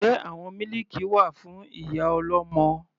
Njẹ́ àwọn mílìkì wà fún ìyá ọlọ́mọ?